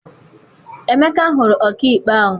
Emeka hụrụ ọkaikpe ahụ.